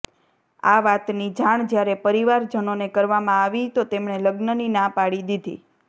આ વાતની જાણ જ્યારે પરિવારજનોને કરવામાં આવી તો તેમણે લગ્નની ના પાડી દીધી